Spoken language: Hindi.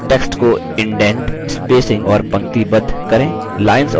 text को इंडैन्ड spacing और पंक्तिबद्ध करें